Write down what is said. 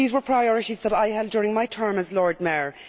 These were priorities that I held during my term as Lord Mayor.